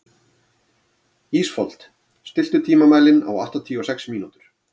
Ísfold, stilltu tímamælinn á áttatíu og sex mínútur.